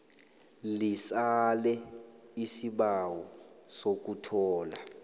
lisale isibawo sokuthola